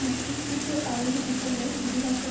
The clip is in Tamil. மற்றும் கூட்டு ஆயுத திட்டங்கள் விரிவாக்கம்